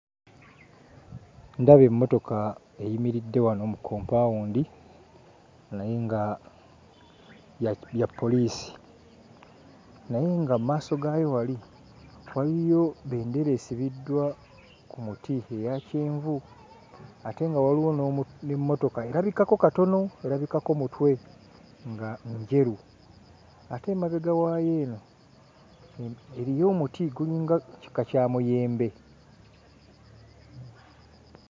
Ndaba emmotoka eyimiridde wano mu kompaawundi naye nga ya... ya poliisi naye nga mu maaso gaayo wali waliyo bendera esibiddwa ku muti eya kyenvu ate nga waliwo n'omu... n'emmotoka erabikako katono, erabikako mutwe nga njeru ate emabega waayo eno eriyo omuti, gulinga kika kya muyembe.